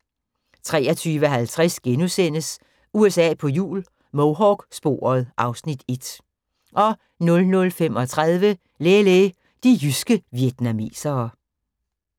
23:50: USA på hjul - Mohawk-sporet (Afs. 1)* 00:35: Lê Lê– de jyske vietnamesere